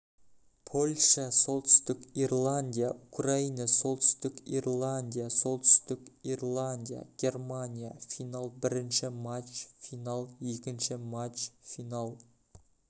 польша солтүстік ирландия украина солтүстік ирландия солтүстік ирландия германия финал бірінші матч финал екінші матч финал